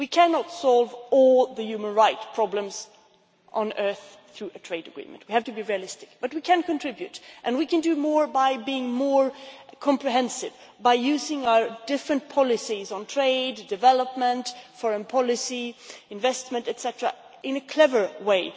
We cannot solve all the human rights problems on earth through trade agreements, we have to be realistic, but we can contribute and we can do more by being more comprehensive, by using our various policies, on trade, development, foreign policy, investment etcetera, in a clever way.